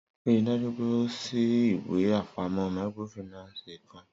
Rii daju pe o ṣii iwe apamọ microfinance kan!